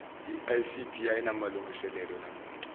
icd ayinamalungiselelo namuntu